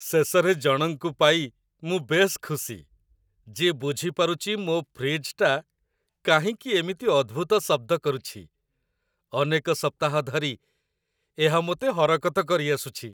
ଶେଷରେ ଜଣଙ୍କୁ ପାଇ ମୁଁ ବେଶ୍ ଖୁସି, ଯିଏ ବୁଝି ପାରୁଛି ମୋ ଫ୍ରିଜ୍‌ଟି କାହିଁକି ଏମିତି ଅଦ୍ଭୁତ ଶବ୍ଦ କରୁଛି ଅନେକ ସପ୍ତାହ ଧରି ଏହା ମୋତେ ହରକତ କରିଆସୁଛି!